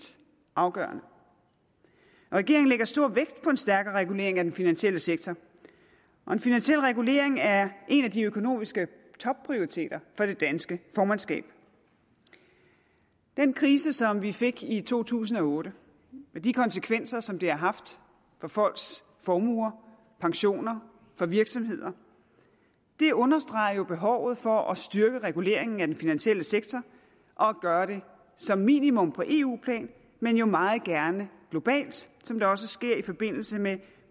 afgørende regeringen lægger stor vægt på en stærkere regulering af den finansielle sektor og en finansiel regulering er en af de økonomiske topprioriteter for det danske formandskab den krise som vi fik i to tusind og otte og de konsekvenser som det har haft for folks formuer pensioner for virksomheder understreger jo behovet for at styrke reguleringen af den finansielle sektor og gøre det som minimum på eu plan men jo meget gerne globalt som det også sker i forbindelse med